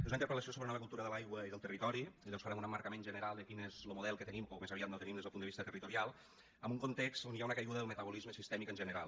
és una interpel·lació sobre la nova cultura de l’aigua i del territori i llavors farem un emmarcament general de quin és lo model que tenim o més aviat no tenim des del punt de vista territorial en un context on hi ha una caiguda del metabolisme sistèmic en general